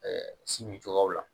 si min cogoyaw la